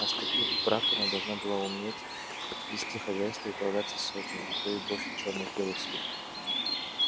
а вступив в брак она должна была уметь вести хозяйство и управляться сотней а то и больше черных и белых слуг